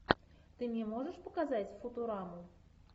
ты мне можешь показать футураму